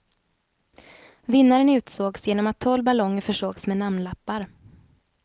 Vinnaren utsågs genom att tolv ballonger försågs med namnlappar.